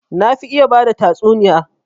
Na fi iya bada tatsuniya